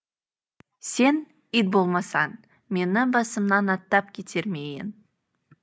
сен ит болмасаң мені басымнан аттап кетер ме ең